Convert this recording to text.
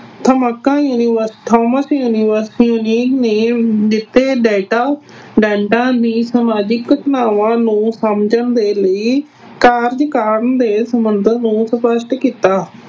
ਨੇ ਦਿੱਤੇ data ਦੀਆਂ ਸਮਾਜਿਕ ਸੰਭਾਵਨਾਵਾਂ ਨੂੰ ਸਮਝਣ ਦੇ ਲਈ ਕਾਰਜ ਕਰਨ ਦੇ ਸੰਬੰਧਾਂ ਨੂੰ ਸਪੱਸ਼ਟ ਕੀਤਾ।